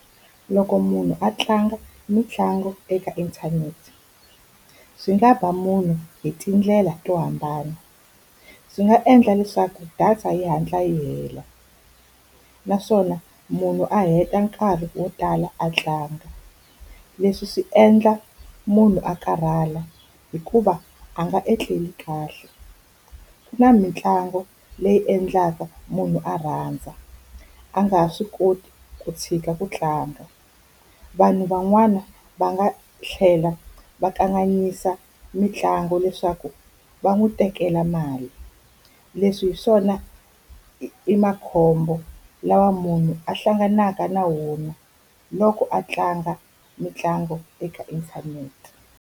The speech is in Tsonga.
Loko munhu a tlanga mitlangu eka inthanete, swi nga ba munhu hi tindlela to hambana. Swi nga endla leswaku data yi hatla yi hela, naswona munhu a heta nkarhi wo tala a tlanga. Leswi swi endla munhu a karhala hikuva a nga etleli kahle. Ku na mitlangu leyi endlaka munhu a rhandza, a nga ha swi koti ku tshika ku tlanga. Vanhu van'wana va nga tlhela va kanganyisa mitlangu leswaku va n'wi tekela mali. Leswi hi swona i makhombo lawa munhu a hlanganaka na wona loko a tlanga mitlangu eka inthanete.